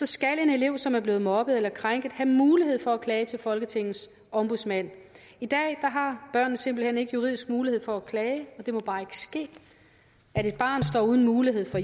skal en elev som er blevet mobbet eller krænket have mulighed for at klage til folketingets ombudsmand i dag har børnene simpelt hen ikke juridisk mulighed for at klage det må bare ikke ske at et barn står uden mulighed for